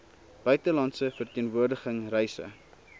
buitelandse verteenwoordiging reise